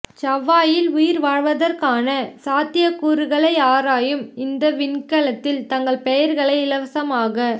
செவ்வாயில் உயிர் வாழ்வதற்கான சாத்தியக்கூறுகளை ஆராயும் இந்த விண்கலத்தில் தங்கள் பெயர்களை இலவசமாக